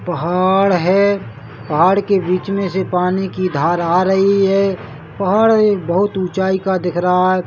पहाड़ है पहाड़ के बीच मे से पानी की धार आ रही है पहाड़ एक बहुत ऊंचाई का दिख रहा है।